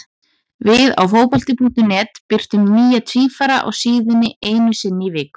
Við á Fótbolti.net birtum nýja tvífara á síðunni einu sinni í viku.